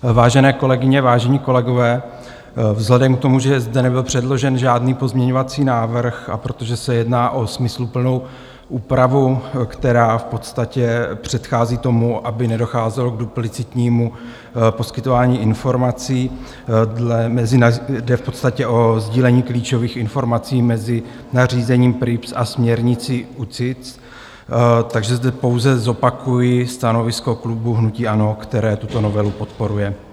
Vážené kolegyně, vážení kolegové, vzhledem k tomu, že zde nebyl předložen žádný pozměňovací návrh, a protože se jedná o smysluplnou úpravu, která v podstatě předchází tomu, aby nedocházelo k duplicitnímu poskytování informací, jde v podstatě o sdílení klíčových informací mezi nařízením PRIIPs a směrnici UCITS, takže zde pouze zopakuji stanovisko klubu hnutí ANO, které tuto novelu podporuje.